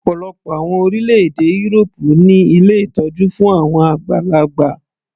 Ọ̀pọ̀lọpọ̀ àwọn orílẹ̀-èdè írópù ní ilé ìtọ́jú fún àwọn àgbàlagbà.